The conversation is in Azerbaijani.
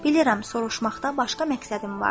Bilirəm, soruşmaqda başqa məqsədim vardır.